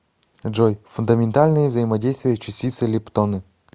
джой фундаментальные взаимодействия частицы лептоны